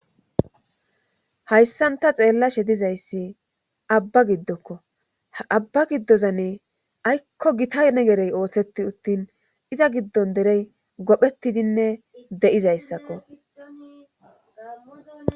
Hayssanta xeellashe dizayssi abba giddokko abba giddoza ne aykko gitane gerey ooththeti uttin iza giddon derey gophetidinne de'izayssakko.